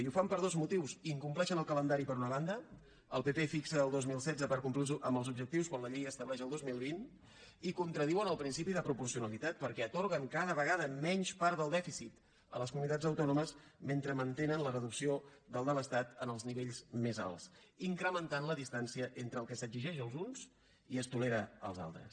i ho fan per dos motius incompleixen el calendari per una banda el pp fixa el dos mil setze per complir amb els objectius quan la llei estableix el dos mil vint i contradiuen el principi de proporcionalitat perquè atorguen cada vegada menys part del dèficit a les comunitats autònomes mentre mantenen la reducció del de l’estat en els nivells més alts i incrementen la distància entre el que s’exigeix als uns i es tolera als altres